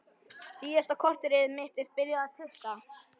Síðasta korterið mitt er byrjað að tikka.